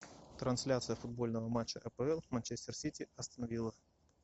трансляция футбольного матча апл манчестер сити астон вилла